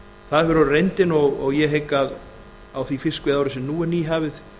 það hefur orðið reyndin og ég hygg að á því fiskveiðiári sem nú er nýhafið